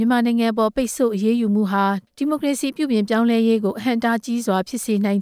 ြန်မာနိုင်ငံရဲ့ ဒီမိုကရေစီပြုပြင်ပြောင်းလဲရေးကို အဟန့်အတား ဖြစ်လာစေနိုင်